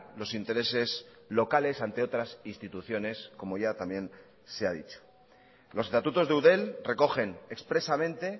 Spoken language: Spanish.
los intereses locales ante otras instituciones como ya también se ha dicho los estatutos de eudel recogen expresamente